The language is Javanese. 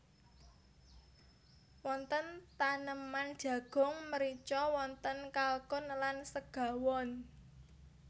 Wonten taneman jagung mrica wonten kalkun lan segawon